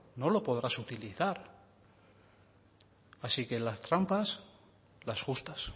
no lo podrás utilizar así que las trampas las justas